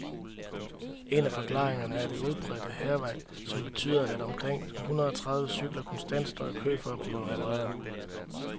En af forklaringerne er det udbredte hærværk, som betyder, at omkring hundrede tredive cykler konstant står i kø for at blive repareret.